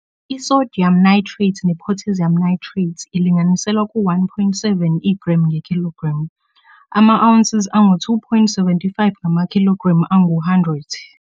I-sodium nitrate ne-potassium nitrate ilinganiselwe ku-1.7 igremu ngekhilogremu, ama-ounces angu-2.75 ngamakhilogremu angu-100.